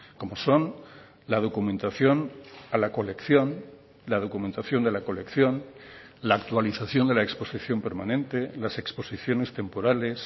como son la documentación a la colección la documentación de la colección la actualización de la exposición permanente las exposiciones temporales